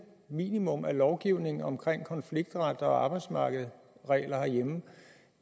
minimum af lovgivning omkring konfliktret og arbejdsmarkedsregler herhjemme